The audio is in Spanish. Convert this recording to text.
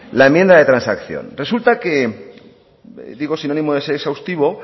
la enmienda de transacción resulta que digo sin ánimo de ser exhaustivo